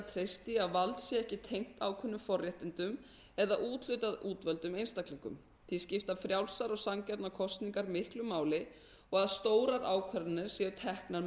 treyst því að vald sé ekki tengt ákveðnum forréttindum eða úthlutað útvöldum einstaklingum því skipta frjálsar og sanngjarnar kosningar miklu máli og að stórar ákvarðanir séu teknar